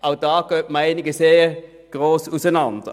Auch hier gehen die Meinungen weit auseinander.